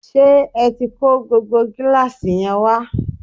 ṣé ẹ tí kó gbogbo gíláàsì yẹn wá?